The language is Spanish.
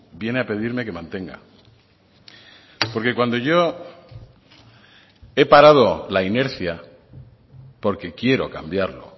viene a pedirme que mantenga porque cuando yo he parado la inercia porque quiero cambiarlo